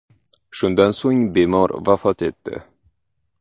Shundan so‘ng bemor vafot etdi.